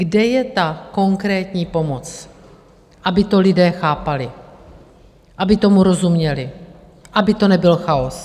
Kde je ta konkrétní pomoc, aby to lidé chápali, aby tomu rozuměli, aby to nebyl chaos?